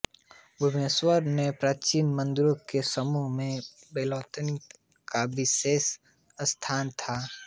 भुवनेश्वर के प्राचीन मन्दिरों के समूह में बैतालमन्दिर का विशेष स्थान है